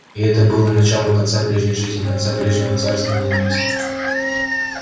и это было началом конца прежней жизни конца прежнего царства ненависти